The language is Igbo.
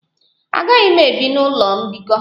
Agaghị m ebi n'ụlọ mbikọ.